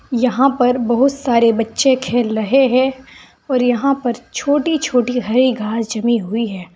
यहां पर बहुत सारे बच्चे खेल रहे हैं और यहां पर छोटी छोटी है घास जमी हुई है।